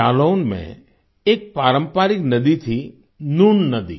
जालौन में एक पारंपरिक नदी थी नून नदी